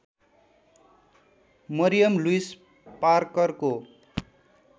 Mariam Louis पार्करको